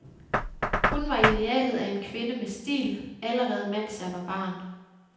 Hun var idealet af en kvinde med stil, allerede mens jeg var barn.